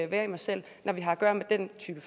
være i mig selv når vi har at gøre med den type